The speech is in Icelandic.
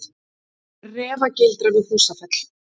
Refagildra við Húsfell.